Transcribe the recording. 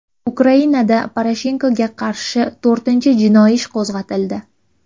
Ukrainada Poroshenkoga qarshi to‘rtinchi jinoiy ish qo‘zg‘atildi.